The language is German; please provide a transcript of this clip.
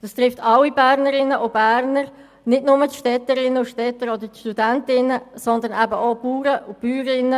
Dies betrifft alle Bernerinnen und Berner und nicht nur die Städterinnen und Städter oder die Studierenden, sondern beispielsweise auch Bauern und Bäuerinnen.